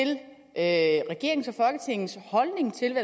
at regeringens og folketingets holdning til